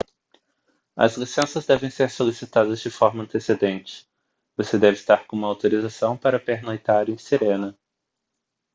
as licenças devem ser solicitadas de forma antecedente você deve estar com uma autorização para pernoitar em sirena